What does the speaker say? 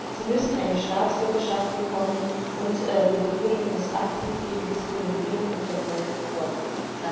Sie müssen eine Staatsbürgerschaft bekommen, und die Regierung muss aktiv gegen Diskriminierung und Verfolgung vorgehen.